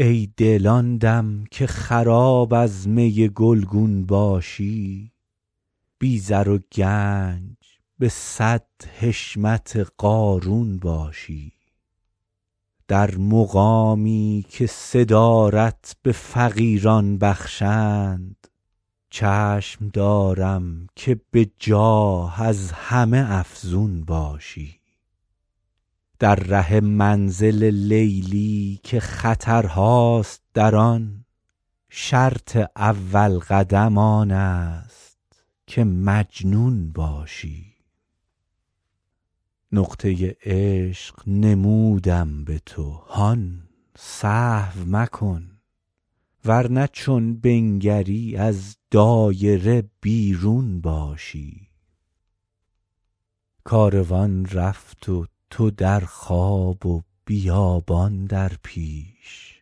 ای دل آن دم که خراب از می گلگون باشی بی زر و گنج به صد حشمت قارون باشی در مقامی که صدارت به فقیران بخشند چشم دارم که به جاه از همه افزون باشی در ره منزل لیلی که خطرهاست در آن شرط اول قدم آن است که مجنون باشی نقطه عشق نمودم به تو هان سهو مکن ور نه چون بنگری از دایره بیرون باشی کاروان رفت و تو در خواب و بیابان در پیش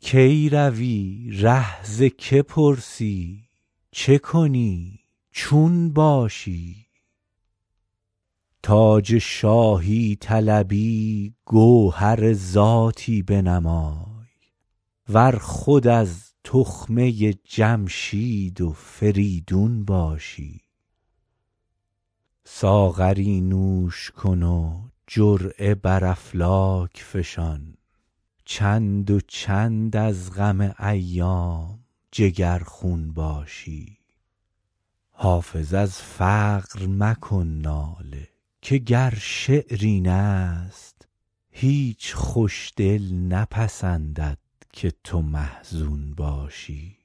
کی روی ره ز که پرسی چه کنی چون باشی تاج شاهی طلبی گوهر ذاتی بنمای ور خود از تخمه جمشید و فریدون باشی ساغری نوش کن و جرعه بر افلاک فشان چند و چند از غم ایام جگرخون باشی حافظ از فقر مکن ناله که گر شعر این است هیچ خوش دل نپسندد که تو محزون باشی